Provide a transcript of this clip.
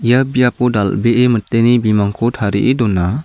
ia biapo dal·bee miteni bimangko tarie dona.